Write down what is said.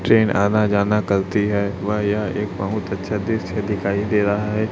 Train आना जाना करती है। वह यह एक बहुत अच्छा दृश्य दिखाई दे रहा है।